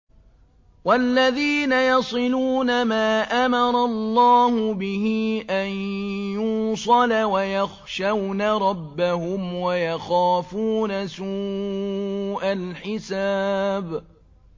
وَالَّذِينَ يَصِلُونَ مَا أَمَرَ اللَّهُ بِهِ أَن يُوصَلَ وَيَخْشَوْنَ رَبَّهُمْ وَيَخَافُونَ سُوءَ الْحِسَابِ